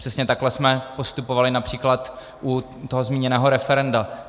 Přesně takhle jsme postupovali například u toho zmíněného referenda.